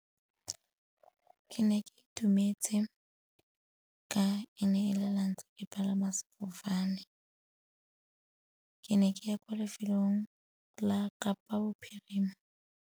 Ke ne ke itumetse ka e ne e le lwantlha ke palama sefofane, ke ne ke ya kwa lefelong la Kapa Bophirima.